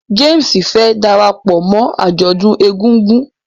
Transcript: James fẹ darapọ̀ mọ ajọdun ègùngùn